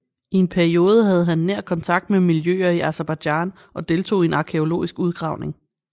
I en periode havde han nær kontakt med miljøer i Aserbajdsjan og deltog i en arkæologisk udgravning